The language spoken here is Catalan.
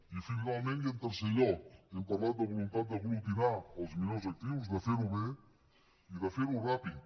i finalment i en tercer lloc hem parlat de voluntat d’aglutinar els millors actius de ferho bé i de ferho ràpid